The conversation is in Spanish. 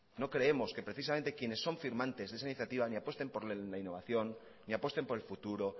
no creemos que precisamente quienes son firmantes de esa iniciativa ni apuesten por la innovación ni apuesten por el futuro